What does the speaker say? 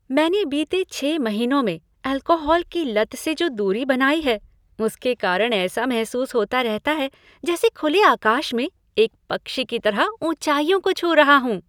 मैंने बीते छः महीनों से अल्कोहल की लत से जो दूरी बनाई है, उसके कारण ऐसा महसूस होता रहता है जैसे खुले आकाश में एक पक्षी की तरह ऊँचाइयों को छू रहा हूँ।